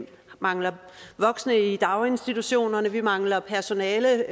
mangler voksne i daginstitutionerne at vi mangler personale